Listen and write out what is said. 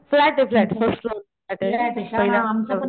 flat ये flat first floor वर flat ये पहिल्या मजल्या वर